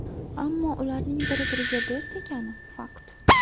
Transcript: Ammo ularning bir-biriga do‘st ekani – fakt.